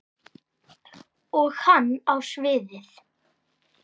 Og hann á sviðið.